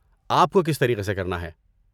آپ کو کس طریقے سے کرنا ہے؟